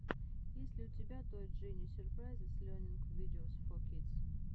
есть ли у тебя той джини сюрпрайзес лернинг видеос фор кидс